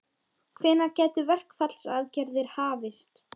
Hvenær gætu verkfallsaðgerðir hafist?